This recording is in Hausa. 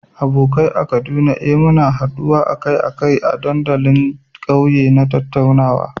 Abokai a Kaduna, eh, muna haduwa akai-akai a dandalin kauye don tattaunawa.